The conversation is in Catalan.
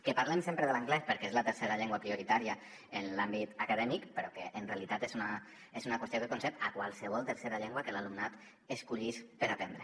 que parlem sempre de l’anglès perquè és la tercera llengua prioritària en l’àmbit acadèmic però en realitat és una qüestió que concerneix qualsevol tercera llengua que l’alumnat escollís per aprendre